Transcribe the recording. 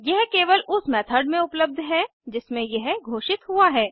यह केवल उस मेथड में उपलब्ध है जिसमें यह घोषित हुआ है